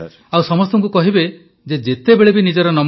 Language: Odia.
ପ୍ରଧାନମନ୍ତ୍ରୀ ଆଉ ସମସ୍ତଙ୍କୁ କହିବେ ଯେ ଯେତେବେଳେ ବି ନିଜ ନମ୍ବର ଆସିବ